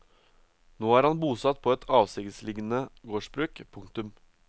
Nå er han bosatt på et avsidesliggende gårdsbruk. punktum